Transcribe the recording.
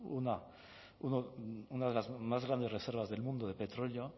una de las más grandes reservas del mundo de petróleo